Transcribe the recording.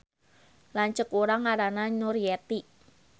Lanceuk urang ngaranna Nuryeti